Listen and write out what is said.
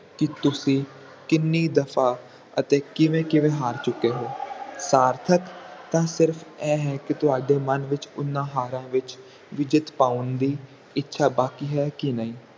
ਕਿ ਤੁਸੀਂ ਕਿੰਨੀ ਦਫ਼ਾ ਅਤੇ ਕਿਵੇਂ ਕਿਵੇਂ ਹਰ ਚੁੱਕੇ ਹੋ ਸਾਰਥਕ ਤਾ ਸਿਰਫ ਇਹ ਹੈ ਕੀ ਤੁਹਾਡੇ ਵਿਚ ਓਹਨਾ ਹਾਰਾਂ ਵਿਚ ਵੀ ਜਿੱਤ ਪਾਉਣ ਦੀ ਇੱਛਾ ਬਾਕੀ ਹੈ ਜਾ ਨਹੀਂ